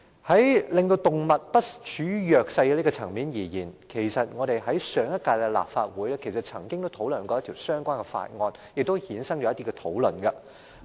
在令動物不處於弱勢的層面而言，上屆立法會曾討論一項相關法案，並衍生了一些討論。